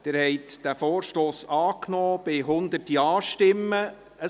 Sie haben den Vorstoss angenommen, mit 100 Ja- bei 42 Nein-Stimmen und 0 Enthaltungen.